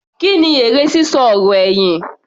Kí ni èrè sísọ ọ̀rọ̀ ẹ̀yìn?